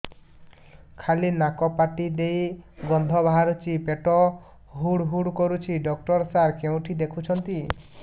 ଖାଲି ନାକ ପାଟି ଦେଇ ଗଂଧ ବାହାରୁଛି ପେଟ ହୁଡ଼ୁ ହୁଡ଼ୁ କରୁଛି ଡକ୍ଟର ସାର କେଉଁଠି ଦେଖୁଛନ୍ତ